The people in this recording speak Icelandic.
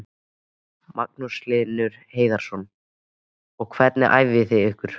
Magnús Hlynur Hreiðarsson: Og hvernig æfið þið ykkur?